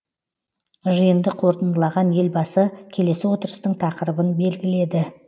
жиынды қорытындалаған елбасы келесі отырыстың тақырыбын белгіледі